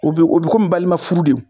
O be o be komi balima furu de o